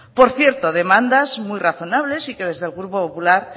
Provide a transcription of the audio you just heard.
por cierto demandas muy razonables y que desde el grupo popular